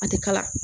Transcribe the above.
A ti kala